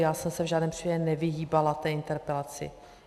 Já jsem se v žádném případě nevyhýbala té interpelaci.